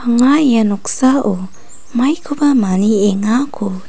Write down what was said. anga ia noksao maikoba maniengako--